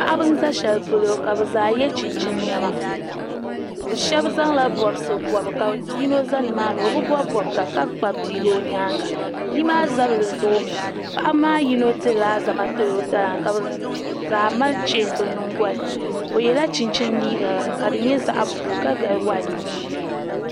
paɣiba n-za shɛli polo ka bɛ zaa ye chinchini nema bɛ shɛba zaŋla bɔbisi bɔbi ka yino za ni maani o bi bɔbi bɔbiga ka kpabi bia o nyaaŋa bia maa zabiri zoomi paɣiba maa yino dirila alizama n-tiri o taba maa ka bɛ zaa mali cheeni bɛ nyingoli ni o yɛla chinchini liiga ka di nyɛ zaɣ' buluu ka gabi waiti mini yɛlo